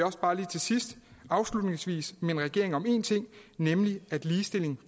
også bare lige til sidst minde regeringen om én ting nemlig at ligestilling